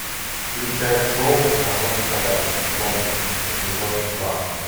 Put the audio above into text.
включай шоу закон и порядок лондон эпизод два